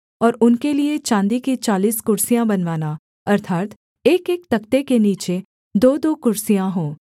और उनके लिये चाँदी की चालीस कुर्सियाँ बनवाना अर्थात् एकएक तख्ते के नीचे दोदो कुर्सियाँ हों